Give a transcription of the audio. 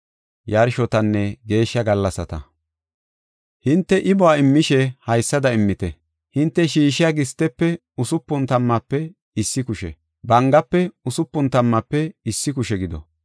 “Hinte imuwa immishe haysada immite. Hinte shiishiya gistefe usupun tammaafe issi kushe, bangafe usupun tammaafe issi kushe gido.